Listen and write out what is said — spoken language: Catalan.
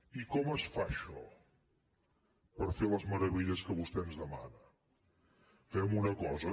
i com es fa això per fer les meravelles que vostè ens demana fem una cosa